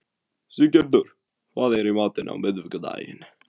Siggerður, hvað er í matinn á miðvikudaginn?